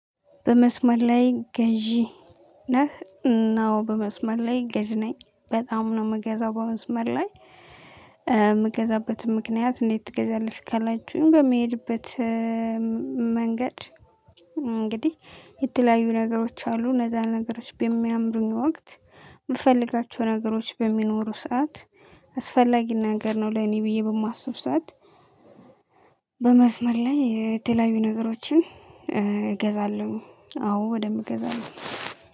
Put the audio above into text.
በመስመር ላይ ገዢ ነህ? አዎ በመስመር ላይ ገዢ ነኝ በጣም ነው የምገዛው። በመስመር ላይ የምገዛበትም ምክንያት እንዴት ትገዛለሽ ካላችሁኝ? በመሄድበት መንገድ እንግዲህ የተለያዩ ነገሮች አሉ እነዛን ነገሮች በሚያምሩኝ ወቅት የምፈልጋቸው ነገሮች በሚኖሩ ሰዓት አስፈላጊ ነገር ነው ለኔ ብዬ በማስብ። ሰዓት በመስመር ላይ የተለያዩ ነገሮችን እገዛለሁ አዎ በደምብ እገዛለው